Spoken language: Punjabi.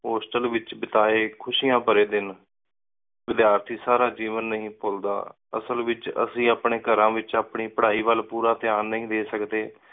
ਹੋਸਟਲ ਵਿਚ ਬਿਤਾਏ ਖੁਸ਼ਿਯਾਂ ਭਰੇ ਦਿਨਵਿਦਿਆਰਥੀ ਸਾਰਾ ਜੀਵਨ ਨੀ ਪੁਲਦਾ। ਅਸਲ ਵਿਚ ਅੱਸੀ ਅਪਣੇ ਘਰਾਂ ਵਿਚ ਆਪਣੀ ਪਢ਼ਾਈ ਵਲ ਪੂਰਾ ਧਿਆਨ ਦੇ ਨੀ ਸਕਦੇ।